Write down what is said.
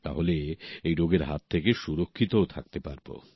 তাহলে এই রোগের হাত থেকে সুরক্ষিত থাকতে পারবো